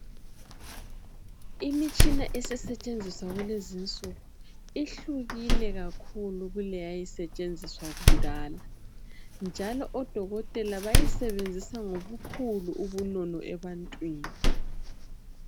Imitshina esesetshenziswa kulezi nsuku ihlukile kakhulu kuleyayisetshenziswa kudala njalo odokotela bayisebenzisa ngobukhulu ubunono ebantwini.